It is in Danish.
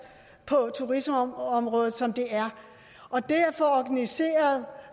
på turismeområdet som det er og det at få organiseret